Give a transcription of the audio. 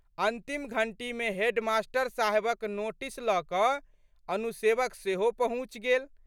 अन्तिम घंटीमे हेडमास्टर साहेबक नोटीस लऽ कऽ अनुसेवक सेहो पहुँचि गेल।